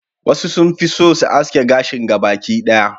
wasu sun fi so su haske gashin gaba ki daya